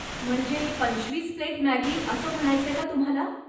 म्हणजे पंचवीस plate Maggi असं म्हणायचंय का तुम्हाला?